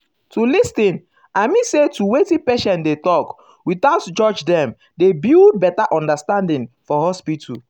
to lis ten i mean say to wetin patient dey talk without judge um dem dey build better understanding for hospital.